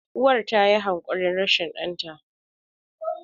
uwar ta yi hakuri rashin danta?